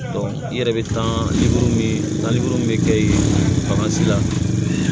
i yɛrɛ bɛ taa bɛ kɛ ye bagan si la